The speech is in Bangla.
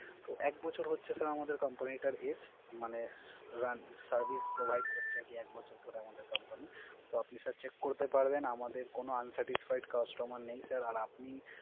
তো এক বছর হচ্ছে আমাদের Company টার Age মানে Service proviced করছে এক বছর আমাদের Company তো আপনি Sir Cheek করতে পারবেন। আমাদের কোন Uncertified customer নেই Sir আর আপনি